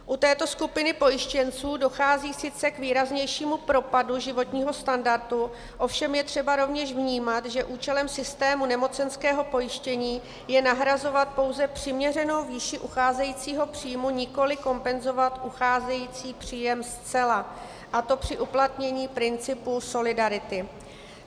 U této skupiny pojištěnců dochází sice k výraznějšímu propadu životního standardu, ovšem je třeba rovněž vnímat, že účelem systému nemocenského pojištění je nahrazovat pouze přiměřenou výši ucházejícího příjmu, nikoliv kompenzovat ucházející příjem zcela, a to při uplatnění principu solidarity.